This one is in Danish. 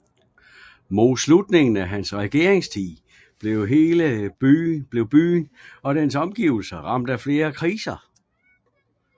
Mod slutningen af hans regeringstid blev byen og dens omgivelser ramt af flere kriser